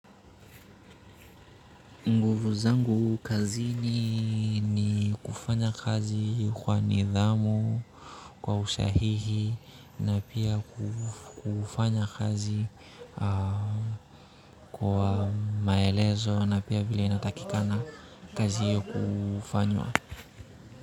Nguvu zangu kazini ni kufanya kazi kwa nidhamu kwa usahihi na pia kufanya kazi kwa maelezo na pia vile inatakikana kazi kufanywa.